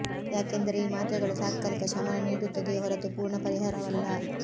ಯಾಕೆಂದರೆ ಈ ಮಾತ್ರೆಗಳು ತಾತ್ಕಾಲಿಕ ಶಮನ ನೀಡುತ್ತದೆಯೇ ಹೊರತು ಪೂರ್ಣ ಪರಿಹಾರವಲ್ಲ